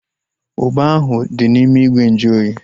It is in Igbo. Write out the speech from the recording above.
Ugba ahu dị n'ime ìgwè nju oyi